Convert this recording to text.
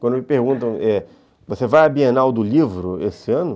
Quando me perguntam, eh, você vai à Bienal do Livro esse ano?